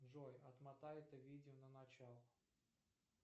джой отмотай это видео на начало